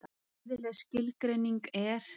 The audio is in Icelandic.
Fræðileg skilgreining er: